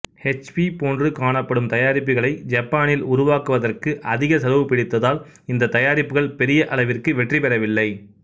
ஹெச்பிபோன்று காணப்படும் தயாரிப்புகளை ஜப்பானில் உருவாக்குவதற்கு அதிக செலவுபிடித்ததால் இந்தத் தயாரிப்புகள் பெரிய அளவிற்கு வெற்றிபெறவில்லை